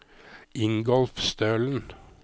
Ingolf Stølen